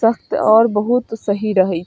तब तो और बहुत सही रहई।